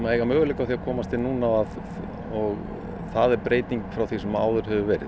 og eiga möguleika á að komast inn núna og það er breyting frá því sem áður hefur verið